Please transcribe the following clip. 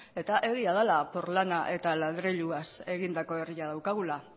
eta egia dela porlana eta adreiluz egindako herria daukagula